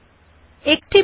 এখন ওক বাটনে ক্লিক করুন